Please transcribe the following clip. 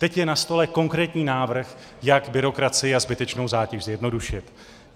Teď je na stole konkrétní návrh, jak byrokracii a zbytečnou zátěž zjednodušit.